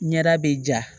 Ɲɛda bɛ ja